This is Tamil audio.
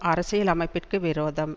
அரசியல் அமைப்பிற்கு விரோதம்